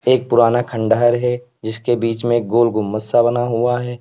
एक पुराना खंडहर है जिसके बीच में गोल गुंबद सा बना हुआ है।